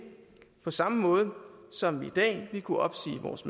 på samme måde som vi i dag ville kunne opsige vores